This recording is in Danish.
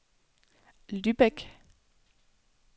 Lübeck